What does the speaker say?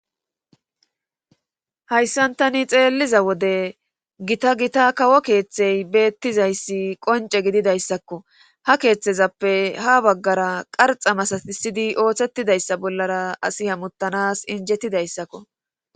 hayssantani xeelliza wode gita gita kawo keeththey beettizayssi qonce gididayssakko ha keeththezappe ha baggara qarxa masatisidi ooththetidayssa bollara asi hamuttanas injettidayssakko